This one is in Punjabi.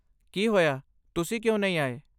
ਕੀ ਹੋਇਆ, ਤੁਸੀਂ ਕਿਉਂ ਨਹੀਂ ਆਏ?